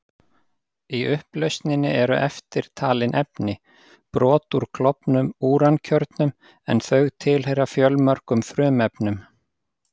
Í upplausninni eru eftirtalin efni: Brot úr klofnum úrankjörnum, en þau tilheyra fjölmörgum frumefnum.